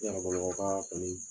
Yɔrɔ kɔni